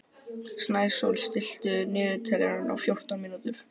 Snæsól, stilltu niðurteljara á fjórtán mínútur.